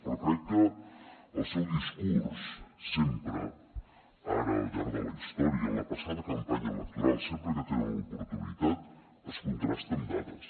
però crec que el seu discurs sempre ara al llarg de la història en la passada campanya electoral sempre que en tenen l’oportunitat es contrasta amb dades